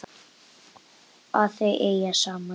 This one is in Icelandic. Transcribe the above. Að þau eigi saman.